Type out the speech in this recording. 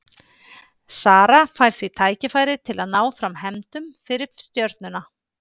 Sara fær því tækifæri til að ná fram hefndum fyrir Stjörnuna.